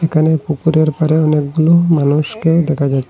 একানে পুকুরের পাড়ে অনেকগুলি মানুষকে দেখা যা--